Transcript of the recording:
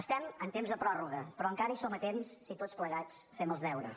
estem en temps de pròrroga però encara hi som a temps si tots plegats fem els deures